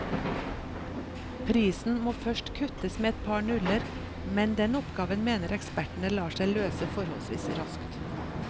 Prisen må først kuttes med et par nuller, men den oppgaven mener ekspertene lar seg løse forholdsvis raskt.